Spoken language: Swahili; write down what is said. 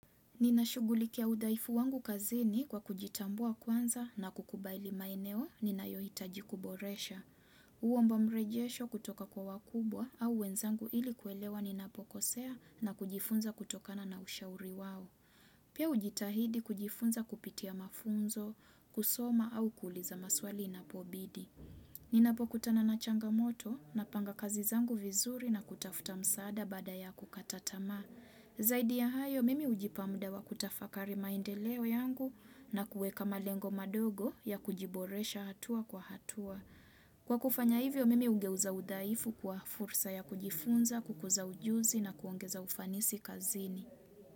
Ninashugulikia udhaifu wangu kazini kwa kujitambua kwanza na kukubaili maeneo ninayohitaji kuboresha. Huomba mrejesho kutoka kwa wakubwa au wenzangu ili kuelewa ninapokosea na kujifunza kutokana na ushauri wao. Pia ujitahidi kujifunza kupitia mafunzo, kusoma au kuuliza maswali inapobidi. Ninapokutana na changamoto napanga kazizangu vizuri na kutafuta msaada baada ya kukata tamaa. Zaidi ya hayo mimi hujipa muda wa kutafakari maendeleo yangu na kueka malengo madogo ya kujiboresha hatua kwa hatua. Kwa kufanya hivyo mimi hugeuza udhaifu kwa fursa ya kujifunza, kukuza ujuzi na kuongeza ufanisi kazini.